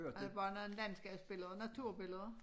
Der er bare noget landskabsbillede og naturbilleder